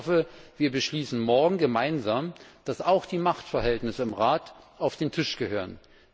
Ich hoffe, wir beschließen morgen gemeinsam, dass auch die Machtverhältnisse im Rat auf den Tisch gehören.